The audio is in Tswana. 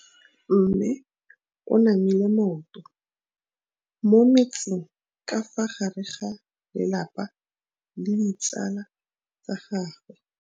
Mme o namile maoto mo mmetseng ka fa gare ga lelapa le ditsala tsa gagwe.